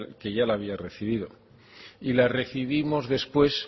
que ya la había recibido y la recibimos después